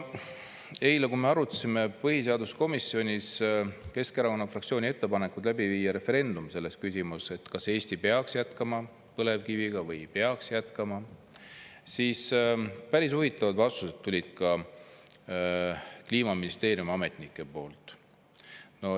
Eile, kui me arutasime põhiseaduskomisjonis Keskerakonna fraktsiooni ettepanekut läbi viia referendum selles küsimus, et kas Eesti peaks jätkama põlevkiviga või ei peaks jätkama, siis päris huvitavad vastused tulid ka Kliimaministeeriumi ametnike poolt.